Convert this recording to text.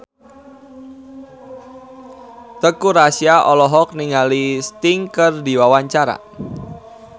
Teuku Rassya olohok ningali Sting keur diwawancara